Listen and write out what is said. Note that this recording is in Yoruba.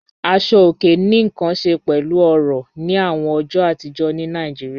Àṣọ̀ ọ̀kè ní nkàn ṣẹ̀ pẹ̀lú ọ̀rọ̀ ni awọn ọjọ́ àtìjọ̀ ní Naijíríà.